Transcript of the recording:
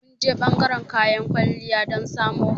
Mun je ɓangaran kayan kwalliya don samo hoda.